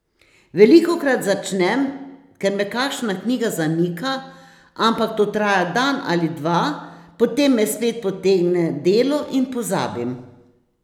Velikokrat začnem, ker me kakšna knjiga zamika, ampak to traja dan ali dva, potem me spet potegne delo in pozabim.